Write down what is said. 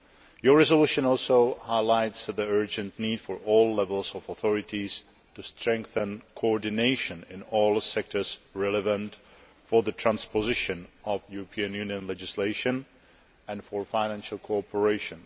Your resolution also highlights the urgent need for all levels of authorities to strengthen coordination in all sectors relevant for the transposition of European Union legislation and for financial cooperation.